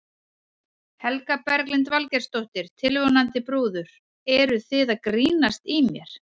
Helga Berglind Valgeirsdóttir, tilvonandi brúður: Eruð þið að grínast í mér?